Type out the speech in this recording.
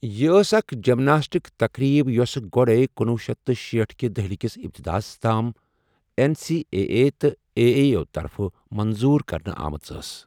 یہِ ٲس اكھ جِمناسٹِک تقریب یوسہٕ گوٛڈٕے کنۄہ شیتھ تہٕ شیٖٹھ کہِ دہلہِ كِس اپتداہس تام این سی اے اے تہٕ اے اے یوٗ طَرفہٕ مَنظوٗر کرنہٕ آمٕژ ٲس ۔